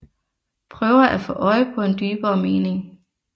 Prøver at få øje på en dybere mening